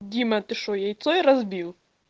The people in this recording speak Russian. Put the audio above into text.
дима ты что яйцо ей разбил